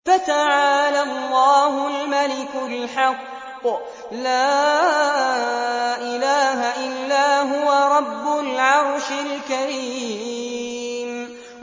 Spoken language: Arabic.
فَتَعَالَى اللَّهُ الْمَلِكُ الْحَقُّ ۖ لَا إِلَٰهَ إِلَّا هُوَ رَبُّ الْعَرْشِ الْكَرِيمِ